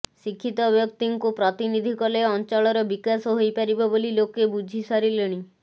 ଶିକ୍ଷିତ ବ୍ୟକ୍ତିଙ୍କୁ ପ୍ରତିନିଧି କଲେ ଅଞ୍ଚଳର ବିକାଶ ହୋଇପାରିବ ବୋଲି ଲୋକେ ବୁଝି ସାରିଲେଣି